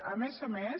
a més a més